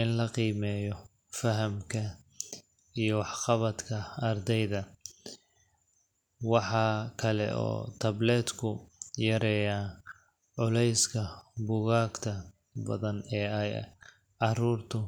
in la qiimeeyo fahamka iyo wax-qabadka ardayda. Waxa kale oo tablet-ku yareeyaa culayska buugaagta badan ee ay carruurtu.